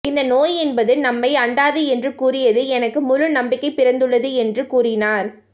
இந்த நோய் என்பது நம்மை அண்டாது என்று கூறியது எனக்கு முழு நம்பிக்கை பிறந்துள்ளது என்று கூறினார்